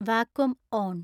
vacuum on